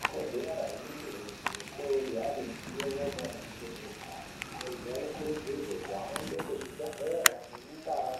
Ikodzero yemuntu weshe kunge ane ruzivo maringe ngezveutano. Antu anokurudzirwa kuhamba kuzvibhendlere nemundaa